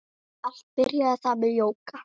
Allt byrjaði það með jóga.